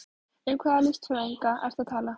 Um hvaða listfræðinga ertu að tala?